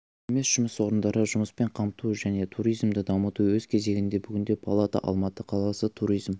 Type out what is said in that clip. емес жұмыс орындары жұмыспен қамту және туризмді дамыту өз кезегінде бүгінде палата алматы қаласы туризм